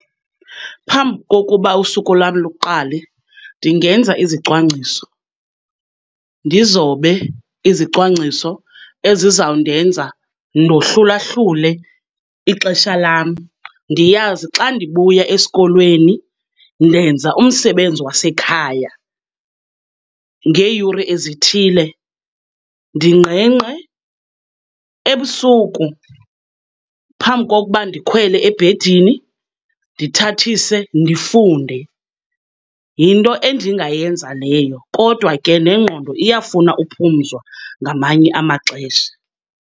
Phambi kokuba usuku lam luqale ndingenza izicwangciso, ndizobe izicwangciso ezizawundenza ndohlulahlule ixesha lam. Ndiyazi xa ndibuya esikolweni ndenza umsebenzi wasekhaya, ngeeyure ezithile ndingqengqe. Ebusuku phambi kokuba ndikhwele ebhedini ndithathise ndifunde. Yinto endingayenza leyo, kodwa ke nengqondo iyafuna uphumzwa ngamanye amaxesha.